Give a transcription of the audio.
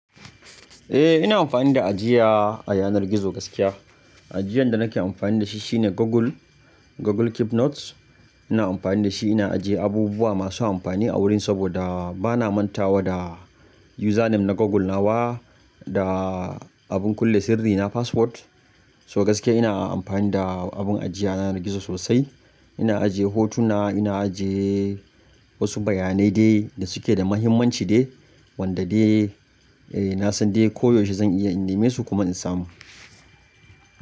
Eh ina amfani da ajiya a yanar gizo gaskiya. Ajiyan da nake amfani da shi shine Google, Google Keep Notes. Ina amfani da shi ina ajiye abubuwa masu amfani a wurin saboda bana manta wa da username na Google na wa da abin kulle sirri na password. So gaskiya ina amfani da abin ajiya na yanar gizo sosai. Ina ajiye hotuna, ina ajiye wasu bayanai dai da suke da muhimmanci dai wanda dai eh na san dai koyaushe zan iya in nemi su kuma in samu.